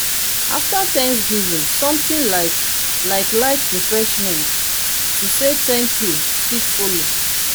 afta thanksgiving somtin like like light refeshment to say thank you fit follow